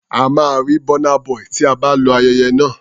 A máa rí Burna Boy tí a bá lọ ayẹyẹ náà.